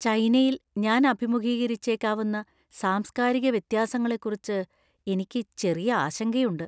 ചൈനയിൽ ഞാൻ അഭിമുഖീകരിച്ചേക്കാവുന്ന സാംസ്കാരിക വ്യത്യാസങ്ങളെക്കുറിച്ച് എനിക്ക് ചെറിയ ആശങ്കയുണ്ട്.